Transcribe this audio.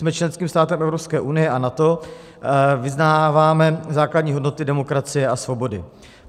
Jsme členským státem Evropské unie a NATO, vyznáváme základní hodnoty demokracie a svobody.